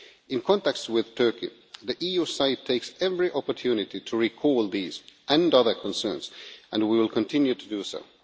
In contacts with Turkey the EU side takes every opportunity to recall these and other concerns, and we will continue to do so.